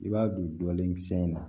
I b'a don dɔɔni kisɛ in na